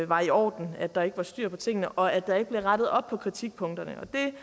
var i orden at der ikke var styr på tingene og at der ikke blev rettet op på kritikpunkterne det